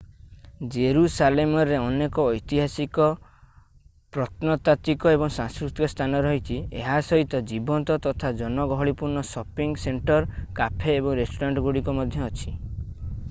ଜେରୁସାଲେମରେ ଅନେକ ଐତିହାସିକ ପ୍ରତ୍ନତାତ୍ଵିକ ଏବଂ ସାଂସ୍କୃତିକ ସ୍ଥାନ ରହିଛି ଏହା ସହିତ ଜୀବନ୍ତ ତଥା ଜନଗହଳିପୂର୍ଣ୍ଣ ସପିଙ୍ଗ୍ ସେଣ୍ଟର କାଫେ ଏବଂ ରେଷ୍ଟୁରାଣ୍ଟ ଗୁଡ଼ିକ ମଧ୍ୟ ଅଛି